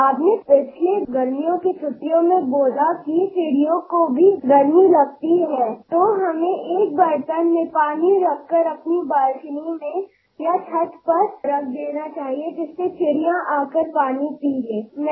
उन्हाळयाच्या मागच्या सुट्टीत आपण सांगितले होते की चिमण्यांनाही उन्हाळयाचा त्रास होतो त्यासाठी आपल्या बाल्कनीत किंवा गच्चीवर एका भांडयात पाणी भरुन चिमण्यांसाठी ठेवा